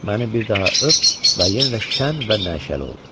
Məni bir daha öp və yenə də şən və nəşəli ol.